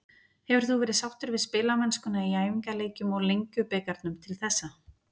Hefur þú verið sáttur við spilamennskuna í æfingaleikjum og Lengjubikarnum til þessa?